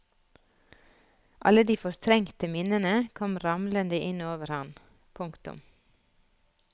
Alle de fortrengte minnene kom ramlende inn over han. punktum